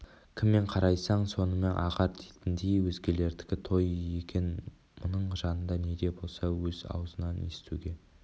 кіммен қарайсаң сонымен ағар дейтіндей өзгелердікі той екен мұның жанында неде болса өз аузынан естуге